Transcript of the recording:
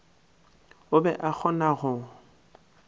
o be a kgona go